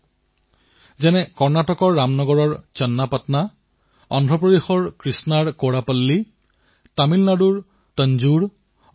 C B ৰাজুৱে এতিকোপ্পকা পুতলাৰ বাবে এতিয়া নিজৰ গাঁৱৰ কাৰিকৰসকলৰ সৈতে লগ হৈ এক আন্দোলনৰ সূচনা কৰিছে